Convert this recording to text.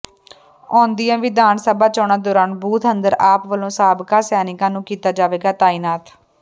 ਆਉਦੀਆਂ ਵਿਧਾਨ ਸਭਾ ਚੌਣਾਂ ਦੌਰਾਨ ਬੂਥ ਅੰਦਰ ਆਪ ਵੱਲੋਂ ਸਾਬਕਾ ਸੈਨਿਕਾਂ ਨੂੰ ਕੀਤਾ ਜਾਵੇਗਾ ਤਾਇਨਾਤ